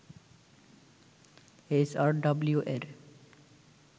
HRW এর